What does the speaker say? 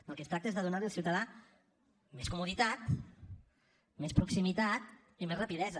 del que es tracta és de donar li al ciutadà més comoditat més proximitat i més rapidesa